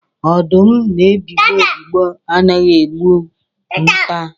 Ọdụm na-ebigbọ ebigbọ anaghị egbu nta.